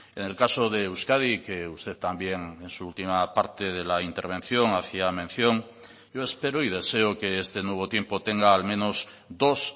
en el caso de euskadi que usted también en su última parte de la intervención hacía mención yo espero y deseo que este nuevo tiempo tenga al menos dos